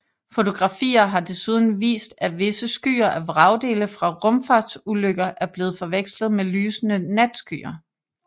Fotografier har desuden vist at visse skyer af vragdele fra rumfartsulykker er blevet forvekslet med lysende natskyer